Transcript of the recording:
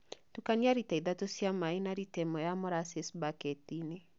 Tukania lita ithatũ cia maĩĩ na lita ĩmwe ya molasses baketiinĩ